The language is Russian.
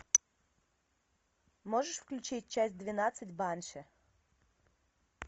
можешь включить часть двенадцать банши